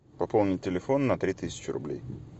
пополнить телефон на три тысячи рублей